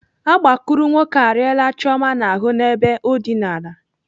Agbakurunwoke arịala Chioma n'ahụ n'ebe o dịnara.